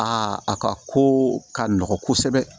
A ka ko ka nɔgɔ kosɛbɛ